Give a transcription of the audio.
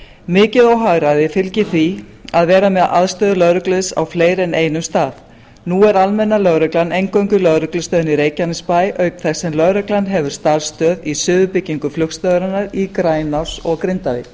mikið óhagræði fylgir því að vera með aðstöðu lögreglu á fleiri en einum stað nú er almenna lögreglan eingöngu í lögreglustöðinni í reykjanesbæ auk þess sem lögreglan hefur starfsstöð í suðurbyggingu flugstöðvarinnar í grænási og grindavík